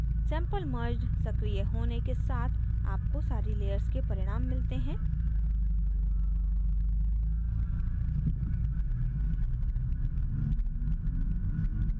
sample merged सक्रिय होने के साथ आपको सारी layers के परिणाम मिलते हैं